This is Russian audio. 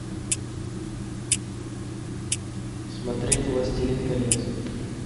смотреть властелин колец